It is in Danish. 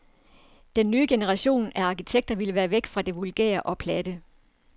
Den nye generation af arkitekter ville væk fra det vulgære og platte.